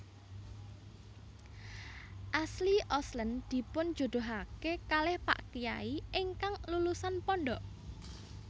Ashley Olsen dipunjodohake kalih pak kyai ingkang lulusan pondok